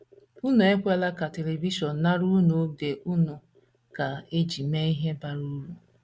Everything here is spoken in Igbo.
Unu ekwela ka televishọn nara unu oge a unu ga - eji mee ihe bara uru.